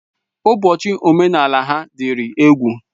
Ụbọchị omenala ha dịrị egwu.